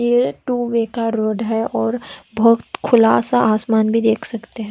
यह two Baker road हैं और बहुत खुला सा आसमान भी देख सकते हैं।